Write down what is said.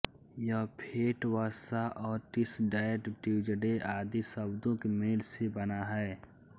यह फेट वसा और टिसडैग ट्यूजडे आदि शब्दों के मेल से बना है